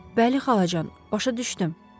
Bəli xalacan, başa düşdüm.